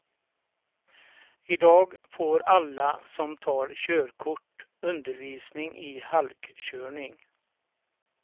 Idag får alla som tar körkört undervisning i halkkörning.